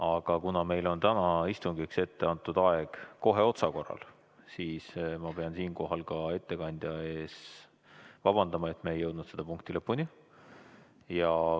Aga kuna meil on täna istungiks ette antud aeg kohe otsakorral, siis ma pean siinkohal ka ettekandja ees vabandama, et me ei jõudnud seda punkti lõpuni menetleda.